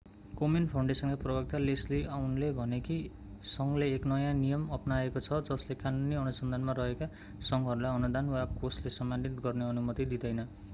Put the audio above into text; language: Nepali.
कोमेन फाउन्डेसनका प्रवक्ता लेस्ली अउनले भने कि संघले एक नयाँ नियम अपनाएको छ जसले कानूनी अनुसन्धानमा रहेका संघहरूलाई अनुदान वा कोषले सम्मानित गर्ने अनुमति दिँदैन